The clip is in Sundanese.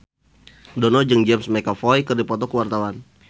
Dono jeung James McAvoy keur dipoto ku wartawan